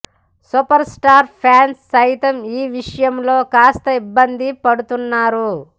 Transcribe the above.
super star fans సైతం ఈ విషయంలో కాస్త ఇబ్బంది పడుతున్నారు